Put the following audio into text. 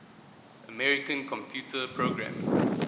american computer programmers